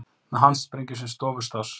Með handsprengju sem stofustáss